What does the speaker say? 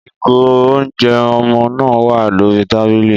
Ìgò oúnjẹ ọmọ náà wà lórí tábìlì.